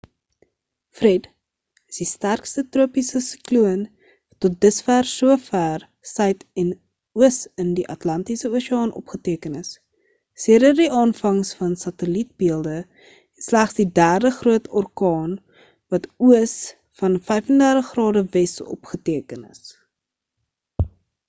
fred is die sterkste tropiese sikloon wat tot dusver so vêr suid en oos in die atlantiese oseaan opgeteken is sedert die aanvangs van satellietbeelde en slegs die derde groot orkaan wat oos van 35 ͦw opgeteken is